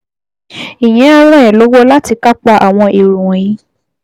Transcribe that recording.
Ìyẹn á ràn ẹ́ lọ́wọ́ láti kápá àwọn èrò wọ̀nyí